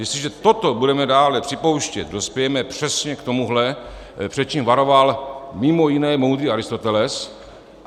Jestliže toto budeme dále připouštět, dospějeme přesně k tomuhle, před čím varoval mimo jiné moudrý Aristoteles.